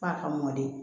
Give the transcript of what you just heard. F'a ka mɔdi